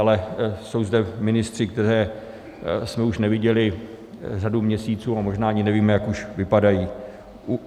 Ale jsou zde ministři, které jsme už neviděli řadu měsíců, a možná ani nevíme, jak už vypadají.